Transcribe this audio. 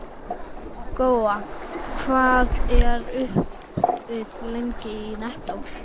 Góa, hvað er opið lengi í Nettó?